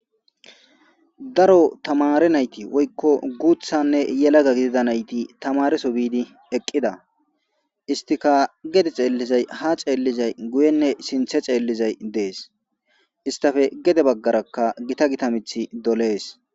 Daro tamare nayti woyko guuththanne yeelaga gidida naytti tamare biidi eqqida.hesttika geede xeelizay ha xeelizay guuyenne sinththe xeelizay de'es. Hesttappe gedde baggaraka giita giitta miththi dolees.